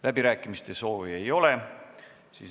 Läbirääkimiste soovi ei ole.